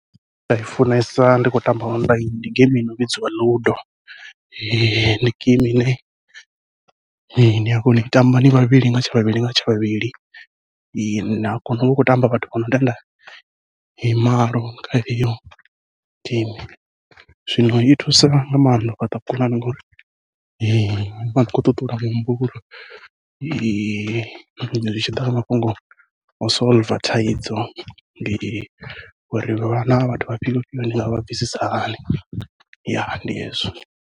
Nda i funesa ndi khou tamba ndi geimi ino vhidziwa ludo, ndi geimi ine nia kona ui tamba ni vhavhili nga tsha vhavhili nga tsha vhavhili, nia kona uvha hu khou tamba vhathu vha no tenda malo kha iyo geimi, zwino i thusa nga maanḓa u fhaṱa vhukonani ngori nivha khou ṱuṱula muhumbulo. zwi tshi ḓa kha mafhungo o solver thaidzo ndi uri vhana vha vhathu vha fhio fhio ndi nga vha bvisisa hani ndi hezwo.